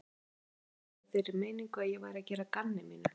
Stóð augljóslega í þeirri meiningu að ég væri að gera að gamni mínu.